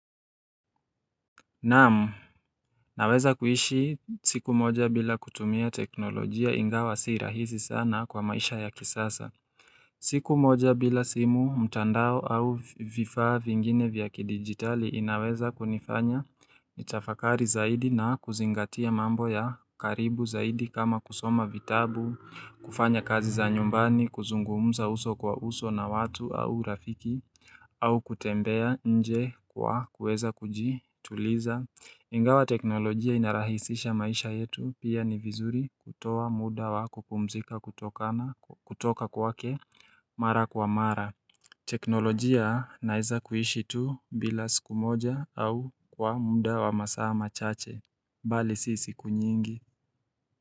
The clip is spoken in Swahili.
Naam, naweza kuishi siku moja bila kutumia teknolojia ingawa si rahisi sana kwa maisha ya kisasa. Siku moja bila simu, mtandao au vifaa vingine vya kidigitali inaweza kunifanya nitafakari zaidi na kuzingatia mambo ya karibu zaidi kama kusoma vitabu, kufanya kazi za nyumbani, kuzungumuza uso kwa uso na watu au rafiki, au kutembea nje kwa kuweza kuji tuliza. Ingawa teknolojia inarahisisha maisha yetu pia ni vizuri kutoa muda wa kupumzika kutoka kwake mara kwa mara. Teknolojia naize kuishi tu bila siku moja au kwa muda wa masaa ma chache, bali si siku nyingi.